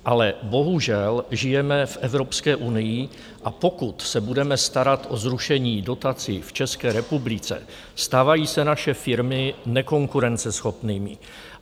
Ale bohužel žijeme v Evropské unii, a pokud se budeme starat o zrušení dotací v České republice, stávají se naše firmy nekonkurenceschopnými.